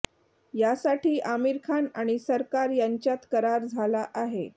यासाठी आमिर खान आणि सरकार यांच्यात करार झाला आहे